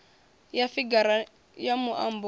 ya figara ya muambo yo